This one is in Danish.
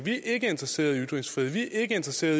endda selv